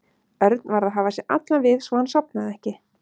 Örn varð að hafa sig allan við svo að hann sofnaði ekki.